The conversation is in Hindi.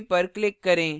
save पर click करें